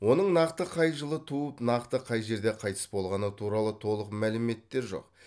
оның нақты қай жылы туып нақты қай жерде қайтыс болғаны туралы толық мәліметтер жоқ